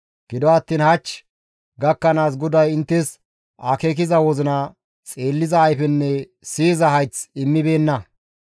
Gido attiin hach gakkanaas GODAY inttes akeekiza wozina, xeelliza ayfenne siyiza hayth immibeenna.